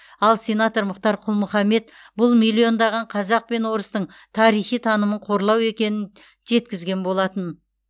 ал сенатор мұхтар құл мұхаммед бұл миллиондаған қазақ пен орыстың тарихи танымын қорлау екенін жеткізген болатын